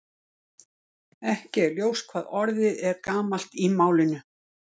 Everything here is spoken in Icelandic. Ekki er ljóst hvað orðið er gamalt í málinu.